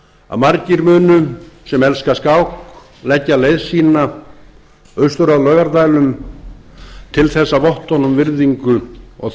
að margir munu sem elska skák leggja leið sína austur að laugardælum til þess að votta honum virðingu og